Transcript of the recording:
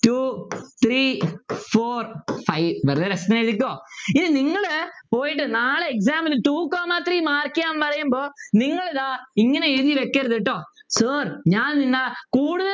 Two Three Four five ഒരു രസത്തിന് എഴുതിക്കോ ഇനി നിങ്ങൾ പോയിട്ട് നാളെ Exam നു Two comma three Mark ചെയ്യാൻ പറയുമ്പോൾ നിങ്ങളു ഇതാ ഇങ്ങനെ എഴുതി വയ്ക്കരുത് കേട്ടോ sir ഞാൻ ഇന്ന കൂടു